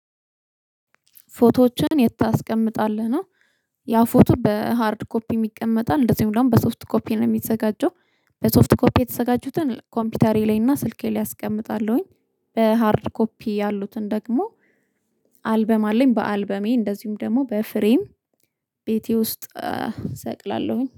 ፎቶዎችን የት ታስቀምጣለህ ነው? ያው ፎቶ በሃርድ ኮፒም ይቀመጣል እንደዚሁም ደግሞ በሶፍት ኮፒ ነው እሚዘጋጁው በሶፍት ኮፒ የተዘጋጁትን ኮምፒውተሪ ላይ እና ስልኬ ላይ አስቀምጣለሁኝ። በሃርድ ኮፒ ያሉትን ደግሞ አልበም አለኝ በአልበሜ እንደዚሁም ደግሞ በፍሬም ቤቴ ውስጥ እሰቅላለሁኝ